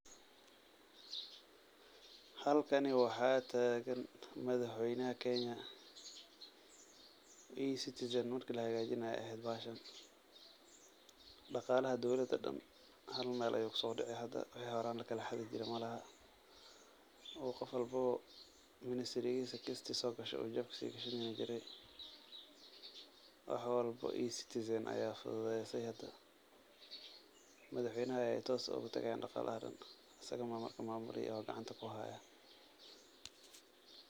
Halkani waxaa taagan, madax weynaha Kenya, ecitizan marki lahagaajinaaye ayeey aheed bahashan, daqaalaha dowlada oo dan hal meel ayuu kusoodaci hada, wixi horaan lakala xadi jiray malahan, oo qof walbo ministry kista soo gasho uu jeebka sii gashan jiray, wax walbo ecitizan ayaa fududeese hada, madax weynaha ayeey toos oogu tagayaan daqaalaha oo dan, asaga ayaa maamuli oo gacanta kuhaaya.